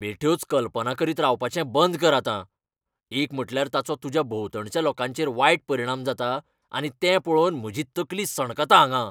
बेठ्योच कल्पना करीत रावपाचें बंद कर आतां. एक म्हटल्यार ताचो तुज्या भोंवतणच्या लोकांचेर वायट परिणाम जाता आनी तें पळोवन म्हजी तकली सणकता हांगां.